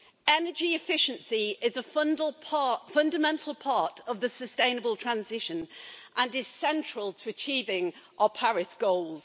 Energy efficiency is a fundamental part of the sustainable transition and is central to achieving our Paris goals.